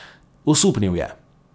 Osupnil je.